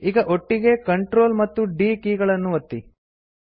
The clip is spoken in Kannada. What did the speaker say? ಈಗ ಒಟ್ಟಿಗೆ Ctrl ಮತ್ತು D ಕೀ ಗಳನ್ನು ಒತ್ತಿ